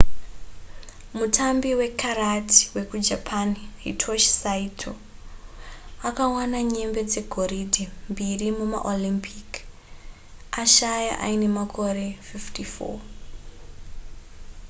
mutambi wekarati wekujapan hitoshi saito akawana nyembe dzegoridhe mbiri mumaolympic ashaya aine makore 54